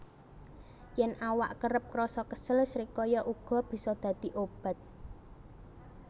Yèn awak kerep krasa kesel srikaya uga bisa dadi obat